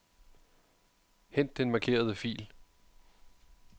Hent den markerede fil.